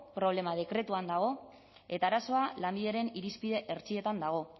problema dekretuan dago eta arazoa lanbideren irizpide hertsietan dago